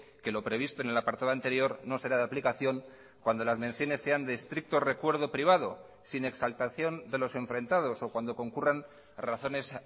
que lo previsto en el apartado anterior no será de aplicación cuando las menciones sean de estricto recuerdo privado sin exaltación de los enfrentados o cuando concurran razones